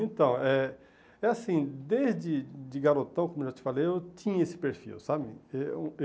Então, é é assim, desde de garotão, como eu já te falei, eu tinha esse perfil, sabe?